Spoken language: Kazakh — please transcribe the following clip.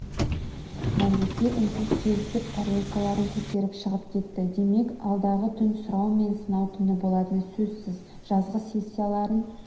мәлике үнсіз келісіп тарелкаларын көтеріп шығып кетті демек алдағы түн сұрау мен сынау түні болатыны сөзсіз жазғы сессияларын